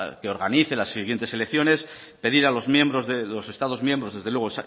que organice las siguientes elecciones pedir a los miembros de los estado miembros desde luego